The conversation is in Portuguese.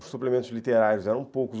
Os suplementos literários eram poucos.